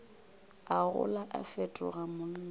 a gola a fetoga monna